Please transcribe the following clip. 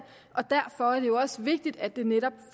og derfor er det jo også vigtigt at det netop